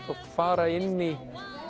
fara inn í